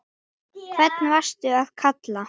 hvern varstu að kalla?